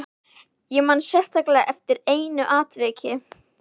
Ég man sérstaklega eftir einu atviki.